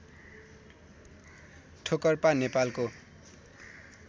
ठोकर्पा नेपालको